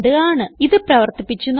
ഇത് പ്രവർത്തിപ്പിച്ച് നോക്കാം